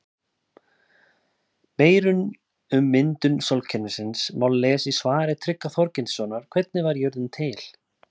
Meira um myndun sólkerfisins má lesa í svari Tryggva Þorgeirssonar Hvernig varð jörðin til?